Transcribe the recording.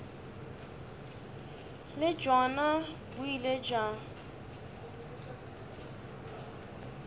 le bjona bo ile bja